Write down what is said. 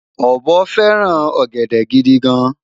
obo feran ogede gidi gan